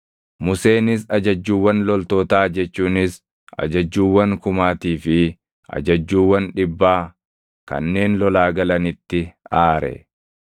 Museenis ajajjuuwwan loltootaa jechuunis ajajjuuwwan kumaatii fi ajajjuuwwan dhibbaa kanneen lolaa galanitti aare.